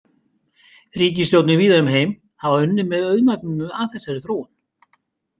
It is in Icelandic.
Ríkisstjórnir víða um heim hafa unnið með auðmagninu að þessari þróun.